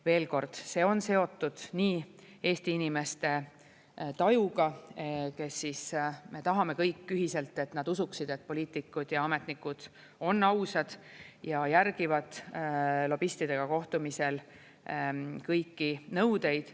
Veel kord: see on seotud seotud nii Eesti inimeste tajuga, kes me tahame kõik ühiselt, et nad usuksid, et poliitikud ja ametnikud on ausad ja järgivad lobistidega kohtumisel kõiki nõudeid.